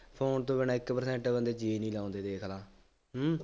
phone ਤੋਂ ਬਿਨਾ ਇੱਕ percent ਅਗਲੇ ਜੀਅ ਨਹੀਂ ਲਾਉਂਦੇ ਦੇਖ ਲਾ, ਹੂੰ,